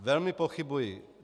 Velmi pochybuji.